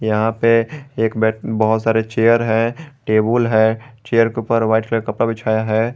यहां पे एक बेड बहुत सारे चेयर है टेबुल है चेयर के ऊपर व्हाइट कलर कपड़ा बिछाया है।